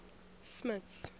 smuts